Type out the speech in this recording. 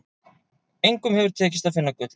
Engum hefur tekist að finna gullið.